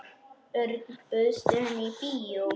Örn, bauðstu henni í bíó?